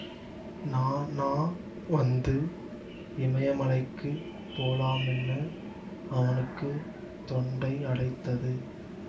நாநாவந்துஇமயமலைக்குப் போலாமின்னு அவனுக்கு தொண்டை அடைத்தது